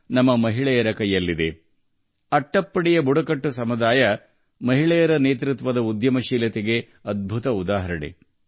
ಮಹಿಳೆಯರ ನೇತೃತ್ವದಲ್ಲಿ ಅಟ್ಟಪ್ಪಾಡಿಯ ಬುಡಕಟ್ಟು ಸಮುದಾಯವು ಉದ್ಯಮಶೀಲತೆಯ ಅದ್ಭುತ ಉದಾಹರಣೆ ಪ್ರದರ್ಶಿಸಿದೆ